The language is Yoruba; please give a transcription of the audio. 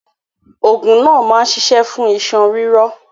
Ògùn náà ma ṣiṣẹ́ fún iṣan ríro.